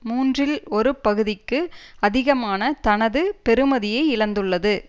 மூன்றில் ஒரு பகுதிக்கு அதிகமான தனது பெறுமதியை இழந்துள்ளது